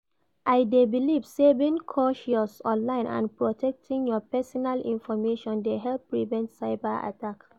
I dey believe say being cautious online and protecting your pesinal information dey help prevent cyber attack.